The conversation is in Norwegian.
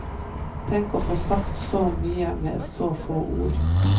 Tenk å få sagt så mye med så få ord.